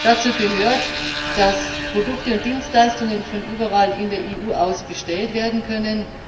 Dazu gehört, dass Produkte und Dienstleistungen von überall in der EU aus bestellt werden können.